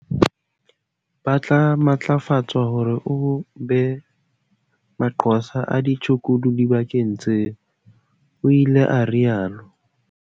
"Ba tla matlafatswa hore e be manqosa a ditshukudu dibakeng tseo," o ile a rialo.